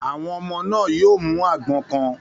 Àwọn ọmọ náà yóò àgbọn kan.